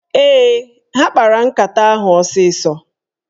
Ee, ha kpara nkata ahụ osịsọ.